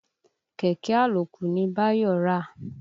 Kẹ̀kẹ́ àlòkù ni Báyọ̀ rà.